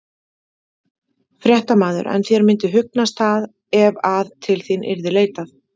Fréttamaður: En þér myndi hugnast það ef að til þín yrði leitað?